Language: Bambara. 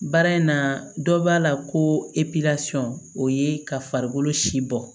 Baara in na dɔ b'a la ko o ye ka farikolo si bɔ